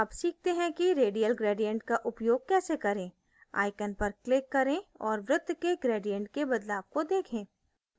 अब सीखते हैं कि radial gradient का उपयोग कैसे करें icon पर click करें और वृत्त में gradient के बदलाव को देखें